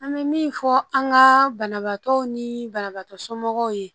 An bɛ min fɔ an ka banabaatɔw ni banabaatɔ somɔgɔw ye